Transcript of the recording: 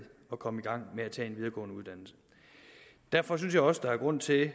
at komme i gang med at tage en videregående uddannelse derfor synes jeg også der er grund til